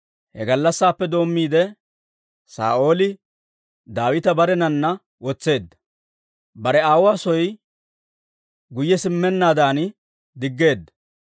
He gallassaappe doommiide, Saa'ooli Daawita barenana wotseedda; bare aawuwaa soo guyye simmennaadan diggeedda.